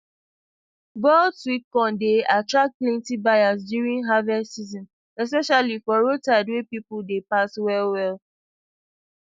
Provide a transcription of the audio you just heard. boiled sweet corn dey attract plenty buyers during harvest season especially for roadside where people dey pass well well